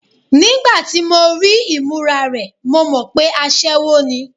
Nígbà tí mo rí ìmúra rẹ̀, mo mọ̀ pé aṣẹwó ni.